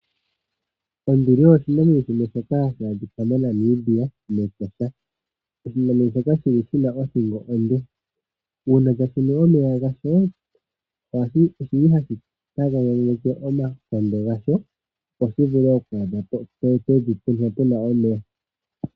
Onduli oyo oshinamwenyo shimwe shoka hashi a dhikwa moNamibia mEtosha shoka shina othingo onde uuna tashi nu omeya gasho ohashi tagananeke omakondo gasho opo shi vule okwaadhapo pevi mpoka pu na omeya.